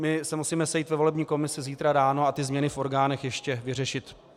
My se musíme sejít ve volební komisi zítra ráno a ty změny v orgánech ještě vyřešit.